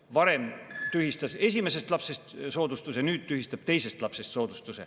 Varem tühistati esimesest lapsest soodustus, nüüd tühistatakse teisest lapsest soodustus.